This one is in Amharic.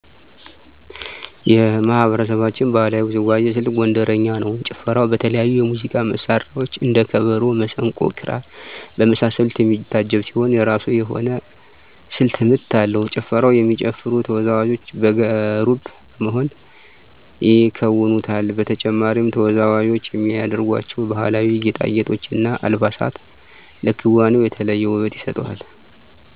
የማህበረሰባችን ባህላዊ ውዝዋዜ ስልት ጎንደረኛ ነው። ጭፈራው በተለያዩ የሙዚቃ መሳሪያዎች እንደ ከበሮ፣ መሰንቆ፣ ክራር በመሳሰሉት የሚታጀብ ሲሆን የራሱ የሆነ ስልተ ምት አለው። ጭፈራውን የሚጨፍሩ ተወዛወዦች በጋራ በመሆን ይከውኑታል። በተጨማሪም ተወዛዋዞች የሚያደርጓቸው ባህላዊ ጌጣጌጦች እና አልባሳት ለክዋኔው የተለየ ውበት ይሰጡታል።